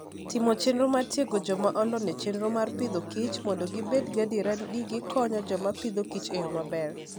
Timo chenro mar tiego joma olony e chenro mar Agriculture and Food mondo gibed gadier ni gikonyo joma Agriculture and Food e yo maber